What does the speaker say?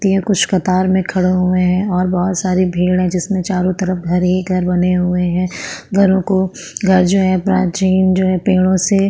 ती ए कुछ कतार में खड़ो हुए है और बहोत सारी भीड़ है जिसमे चारो तरफ घर ही घर बने हुए है घरों को घर जो है प्राचीन जो है पेड़ों से --